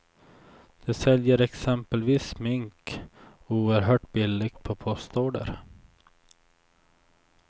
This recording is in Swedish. De säljer exempelvis smink oerhört billigt på postorder.